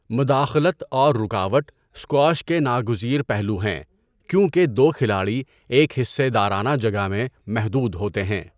مداخلت اور رکاوٹ اسکواش کے ناگزیر پہلو ہیں کیونکہ دو کھلاڑی ایک حصہ دارانہ جگہ میں محدود ہوتے ہیں۔